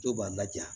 Dɔw b'a laja